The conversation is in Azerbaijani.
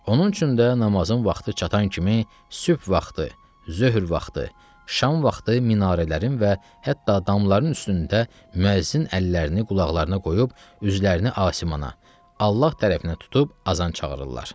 Onun üçün də namazın vaxtı çatan kimi sübh vaxtı, zöhr vaxtı, şam vaxtı minarələrin və hətta damların üstündə müəzzin əllərini qulaqlarına qoyub üzlərini asimanə, Allah tərəfinə tutub azan çağırırlar.